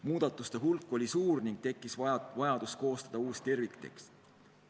Muudatuste hulk oli suur ning tekkis vajadus koostada uus terviktekst.